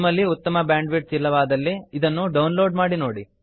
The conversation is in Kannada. ನಿಮ್ಮಲ್ಲಿ ಉತ್ತಮ ಬ್ಯಾಂಡ್ ವಿಡ್ಥ್ ಇಲ್ಲವಾದಲ್ಲಿ ಇದನ್ನು ಡೌನ್ ಲೋಡ್ ಮಾಡಿ ನೋಡಿ